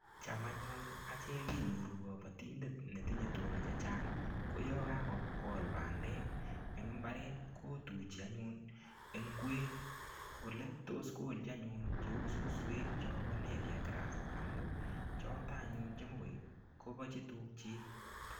Cham anyun echek inyoru kobotindet netinye tukaa chechang ko yoon kakokol bandek en imbaret kotuchi anyun eng kwen eletos koolchi anyun cheuu suswek chombo nepier grass amun choto anyun chemo kobochi tukyik.